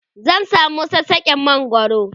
zan samu sassaken mangwaro